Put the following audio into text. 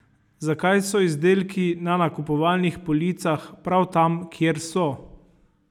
Zakaj so izdelki na nakupovalnih policah prav tam, kjer so?